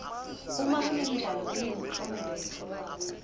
uma kunemidlalo kunemklomelo letfolwako